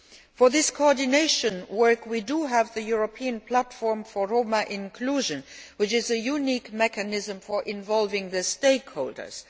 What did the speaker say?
For this coordination work, we do have the European platform for Roma inclusion, which is a unique mechanism for involving the stakeholders.